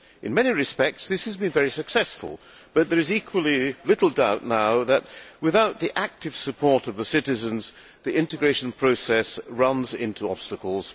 In many respects, this has been very successful but there is equally little doubt now that, without the active support of the citizens, the integration process runs into obstacles.